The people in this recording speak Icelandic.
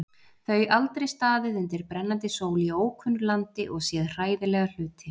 Þau aldrei staðið undir brennandi sól í ókunnu landi og séð hræðilega hluti.